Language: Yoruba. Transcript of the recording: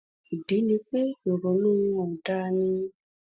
ìdí ni pé ìrònú wọn ò da ni